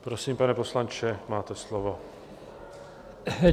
Prosím, pane poslanče, máte slovo.